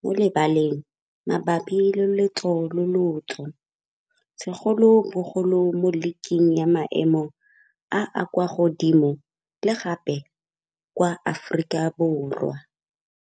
mo lebaleng mabapi le lotso le lotso segolobogolo mo league-keng ya maemo a a kwa godimo le gape kwa Aforika Borwa.